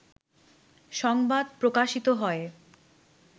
সংবাদ প্রকাশিত হয়